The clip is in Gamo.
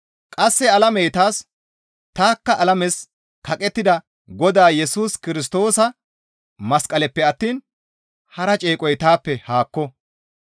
Qasse alamey taas, tanikka alames kaqettida Godaa Yesus Kirstoosa masqalenppe attiin haran ceeqoy taappe haakko.